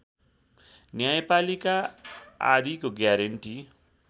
न्यायपालिका आदिको ग्यारेन्टी